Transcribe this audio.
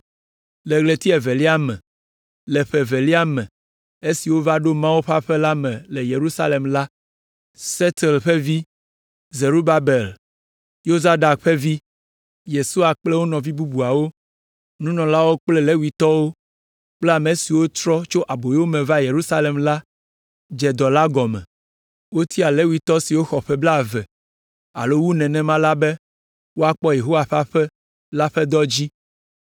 Le ɣleti evelia me, le ƒe evelia me esi wova ɖo Mawu ƒe aƒe la me le Yerusalem la, Sealtiel ƒe vi, Zerubabel, Yozadak ƒe vi, Yesua kple wo nɔvi bubuawo, nunɔlawo kple Levitɔwo kple ame siwo trɔ tso aboyome va Yerusalem la, dze dɔ la gɔme. Wotia Levitɔ siwo xɔ ƒe blaeve alo wu nenema la be woakpɔ Yehowa ƒe aƒe la ƒe dɔ dzi.